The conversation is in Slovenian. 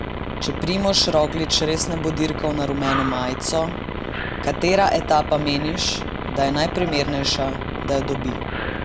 Če Primož Roglič res ne bo dirkal na rumeno majico, katera etapa meniš, da je najprimernejša, da jo dobi?